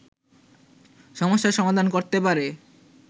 সমস্যার সমাধান করতে পারে